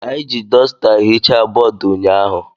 Anyị ji dọsita hichaa bọọdụ ụnyaahụ.